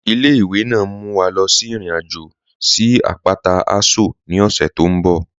Ile-iwe naa n mú wa lọ sí irin-ajo sí apátà Aso ni ọṣẹ tó nbọ̀.